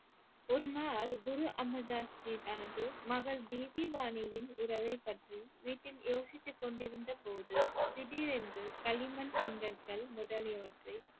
ஒரு நாள் குரு அமிர்தாஸ்ஜி தனது மகள் பிபி வானியின் உறவைப் பற்றி வீட்டில் யோசித்து கொண்டிருந்த போது திடீரென்று களிமண் செங்கற்கள் முதலியவற்றை